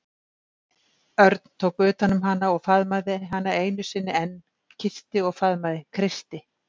Örn tók utan um hana og faðmaði hana einu sinni enn, kyssti og faðmaði, kreisti.